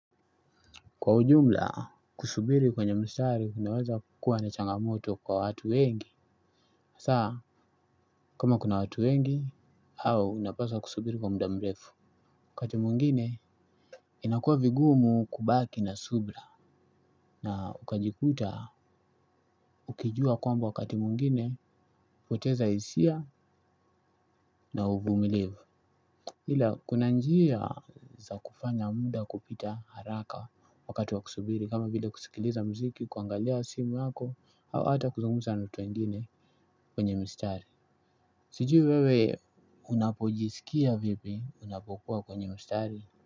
Kwa ujumla, kusubiri kwenye mstari kunawaza kukua na changamoto kwa watu wengi hasa, kama kuna watu wengi, au unapaswa kusubiri kwa muda mrefu, wakati mwingine, inakuwa vigumu kubaki na subira. Na ukajikuta, ukijua kwamba wakati mwingine, kupoteza hisia na uvumilivu. Ila, kuna njia za kufanya muda kupita haraka wakati wa kusubiri kama vile kusikiliza muziki, kuangalia simu yako au hata kuzungumza na watu wengine kwenye mistari. Sijui wewe unapojisikia vipi unapokua kwenye mstari.